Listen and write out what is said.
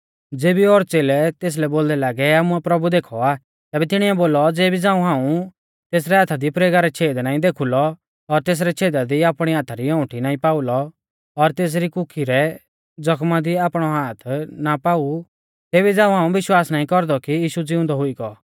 ज़ेबी ओर च़ेलै तेसलै बोलदै लागै आमुऐ प्रभु देखौ आ तैबै तिणीऐ बोलौ ज़ेबी झ़ांऊ हाऊं तेसरै हाथा दी प्रेगा रै छ़ेद नाईं देखुलौ और तेसरै छेदा दी आपणी हाथा री औंउठी नाईं पाऊलौ और तेसरी कुखी रै ज़ख्मा दी आपणौ हाथ ना पाऊ तेबी झ़ांऊ हाऊं विश्वास नाईं कौरदौ कि यीशु ज़िउंदौ हुई गौ